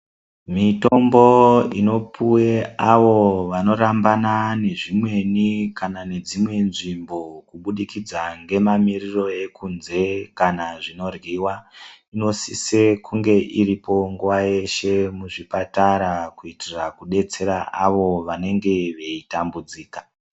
Mitombo inopuwa awo anorambana nezvimweni kana nedzimwe nzvimbo kubudikidza nemamiriro ekunze kana zvinoryiwa zvinosise kunge iripo nguwa yeshe muzvipatara kuitira kudetsera ava vanenge veitambudzika.